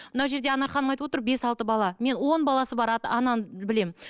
мынау жерде анар ханым айтып отыр бес алты бала мен он баласы бар ананы білемін